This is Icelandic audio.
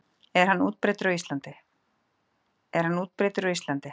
Er hann útbreiddur á Íslandi?